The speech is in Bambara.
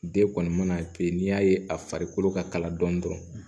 Den kɔni mana n'i y'a ye a farikolo ka kala dɔɔnin dɔrɔn